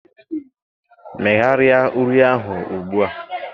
Megharịa uri ahụ ugbu a